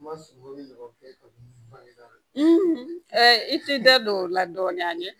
Ma sunɔgɔ ni ɲɔgɔn kɛ i t'i da don o la dɔɔnin ani